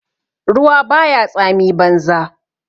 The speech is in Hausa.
Ruwa ba ya tsami banza